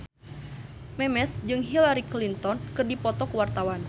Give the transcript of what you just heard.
Memes jeung Hillary Clinton keur dipoto ku wartawan